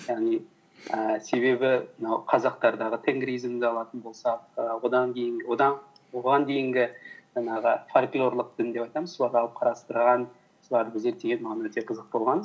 яғни ііі себебі мынау қазақтардағы тенгризмді алатын болсақ і оған дейінгі жаңағы фольклерлік дін деп айтамыз соларды алып қарастырған соларды зерттеген маған өте қызық болған